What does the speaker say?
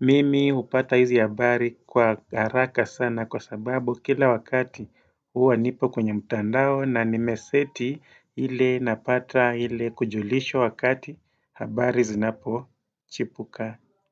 Mimi hupata hizi habari kwa haraka sana kwa sababu kila wakati huwa nipo kwenye mtandao na nimeseti ile napata ile kujulishwa wakati habari zinapochipuka.